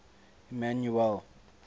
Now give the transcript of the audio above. emmanuele